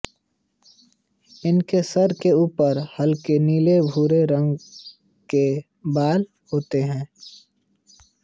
इनके सर के ऊपर हल्के नीले भूरे रंग के बाल होते हैं